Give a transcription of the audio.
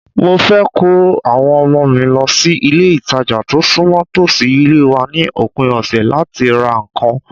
Mo fẹ́ ko àwọn ọmọ mi lọ sí ilé-ìtàjà tó súnmọ́ tòsí ilé wa ni opin ọ̀sẹ̀ láti ra nǹkan